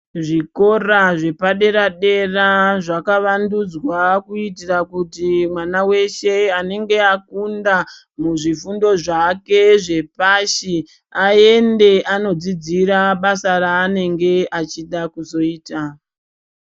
Zvikora zvepadera zvakavandudzwa kuitira kuti mwana weshe anonga akunda muzvifundo zvake zvepashi aende anodzidzira basa raanenge achida kuzoita.